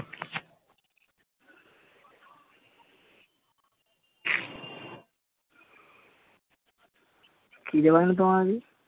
খিদা পায়নি তোমাকে